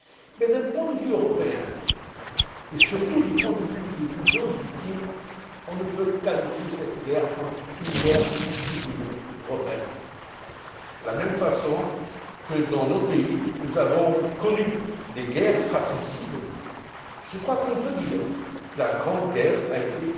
Mais, d'un point de vue européen et, surtout, du point de vue des millions de victimes, on ne peut qualifier cette guerre de guerre civile européenne. De la même façon que dans nos pays nous avons connu des guerres fratricides, je crois qu'on peut dire que la Grande Guerre a été